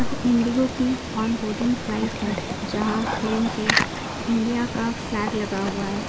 Indigo की on boarding flight है जहां प्लेन पे इंडिया का फ्लेग लगा हुआ है।